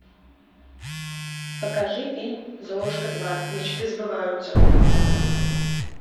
покажи фильм золушка два мечты сбываются